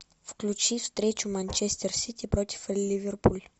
включи встречу манчестер сити против ливерпуля